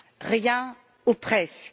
Rien ou presque.